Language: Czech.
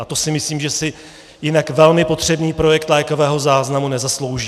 A to si myslím, že si jinak velmi potřebný projekt lékového záznamu nezaslouží.